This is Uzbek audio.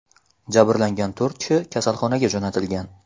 Jabrlangan to‘rt kishi kasalxonaga jo‘natilgan.